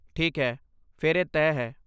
ਠੀਕ ਹੈ, ਫਿਰ ਇਹ ਤੈਅ ਹੈ।